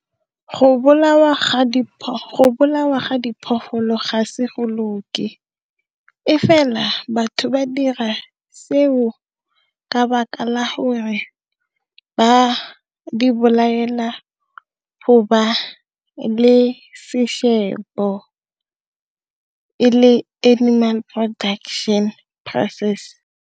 Go bolawa ga diphologolo ga se go loke e fela batho ba dira seo ka 'baka la hore ba di belaela go ba le sešebo e le animal production process.